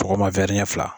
Tɔgɔma fila